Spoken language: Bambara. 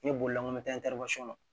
N ye bolila n ko